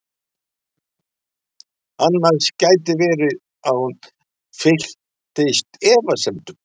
Annars gæti verið að hún fylltist efasemdum.